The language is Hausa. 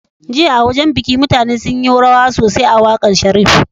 Jiya a wajan biki mutane sunyi rawa sosai a waƙar sharif